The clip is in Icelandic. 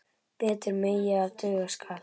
Betur megi ef duga skal.